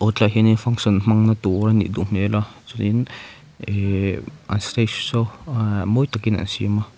hetlai ah hianin function hmanna tur a nih duh hmel a chuanin ihh an stage saw aa mawi takin an siam a.